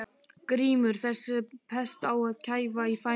GRÍMUR: Þessa pest á að kæfa í fæðingu.